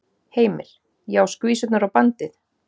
Heimir: Já, skvísurnar og bandið?